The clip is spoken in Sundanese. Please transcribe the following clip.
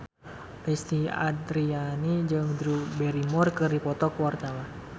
Lesti Andryani jeung Drew Barrymore keur dipoto ku wartawan